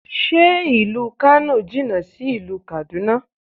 Ṣé ìlú Kano jìnà sí ìlú Kaduna?